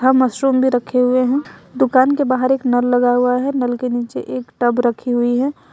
Mushroom भी रखे हुए हैं दुकान के बाहर एक नल लगा हुआ है नल के नीचे एक टब रखी हुई है।